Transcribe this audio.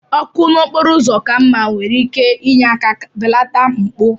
Ọkụ n'okporo ụzọ ka mma nwere ike inye aka belata mpụ